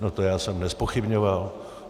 No to já jsem nezpochybňoval.